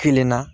Kelen na